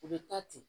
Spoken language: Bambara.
U bɛ taa ten